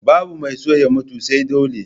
Babu mai son ya mutu sai dole